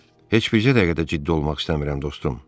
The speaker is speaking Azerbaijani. Heç bir cəhətdə ciddi olmaq istəmirəm, dostum.